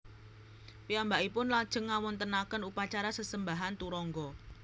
Piyambakipun lajeng ngawontenaken upacara sesembahan turangga